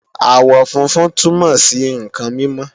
àwọ̀ funfun túnmọ̀ sí ǹkan mímọ́